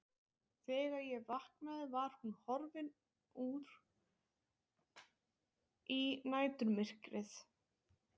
Þegar ég vaknaði var hún horfin út í næturmyrkrið.